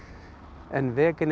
en